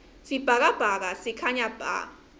sibhakabhaka sikhanya bha